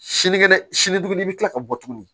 Sinikɛnɛ sini bɛ tila ka bɔ tuguni